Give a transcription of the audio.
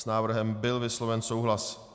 S návrhem byl vysloven souhlas.